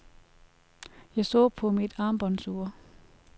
Jeg så på mit armbåndsur.